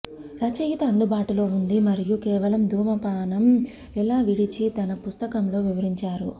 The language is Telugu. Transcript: రచయిత అందుబాటులో ఉంది మరియు కేవలం ధూమపానం ఎలా విడిచి తన పుస్తకంలో వివరించారు